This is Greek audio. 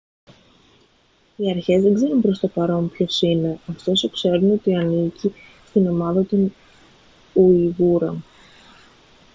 οι αρχές δεν ξέρουν προς το παρόν ποιος είναι ωστόσο ξέρουν ότι ανήκει στην ομάδα των ουιγούρων